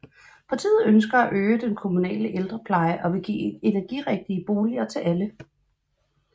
Partiet ønsker at øge den kommunale ældrepleje og vil give energirigtige boliger til alle